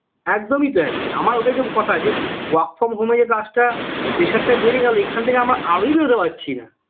একদমই তাই আমার ওটাই তো কথা যে work from home এ যে কাজটা pressure টা বেড়ে গেল এখন থেকে আমরা আরোই বেরোতে পারছি না